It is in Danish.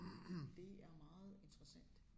Det er meget interessant